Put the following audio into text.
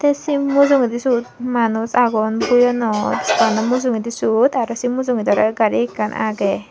te se mujungedi suot manuj agon bui anot doganano mujungedi sut aro se mujungedi oley gari ekkan agey.